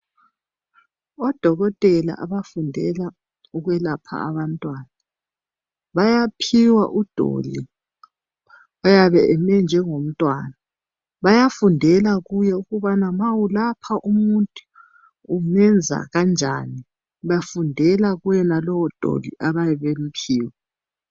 Odokotela abafundela ukwelapha abantwana bayaphiwa udoli oyabe emi njengomntwana baya fundela kuye ukuba ma uselalha umuntu umenza kanjani bafundela kuyenalowo doli abayabe bemphiwe.